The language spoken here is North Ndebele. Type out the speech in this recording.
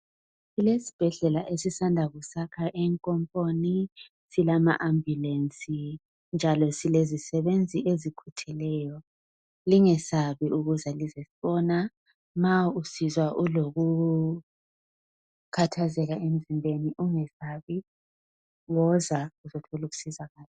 Kulesibhedlela esisanda kusiyakha enkomponi silama ambulensi njalo silezisebenzi ezikhutheleyo lingesabi ukuza lisosibona nxalisizwa lilokukhathazeka emzimbeni lingesabi woza lizothola usizo lapho